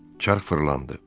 Çarx fırlandı.